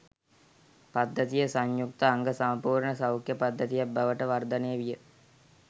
පද්ධතිය සංයුක්ත අංග සම්පුර්ණ සෞඛ්‍ය පද්ධතියක් බවට වර්ධනය විය